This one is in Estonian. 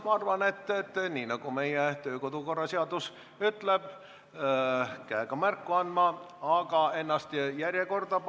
Ma arvan, et nii, nagu meie kodu- ja töökorra seadus ütleb: tuleb käega märku anda, aga panna ennast ka tabloole järjekorda.